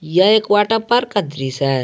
यह एक water park का दृश्य है।